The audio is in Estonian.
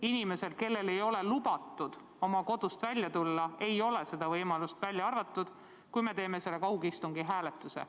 Inimesel, kellel ei ole lubatud oma kodust välja tulla, ei ole seda võimalust, välja arvatud, kui me teeme selle kaugistungi hääletuse.